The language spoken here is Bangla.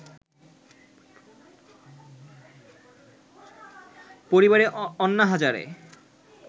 পরিবারে অন্না হজারে